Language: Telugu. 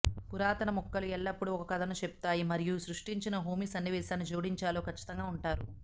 పురాతన ముక్కలు ఎల్లప్పుడూ ఒక కథను చెప్తాయి మరియు మీరు సృష్టిస్తున్న హోమీ సన్నివేశానికి జోడించాలో ఖచ్చితంగా ఉంటారు